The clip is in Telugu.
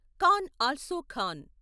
can also Khan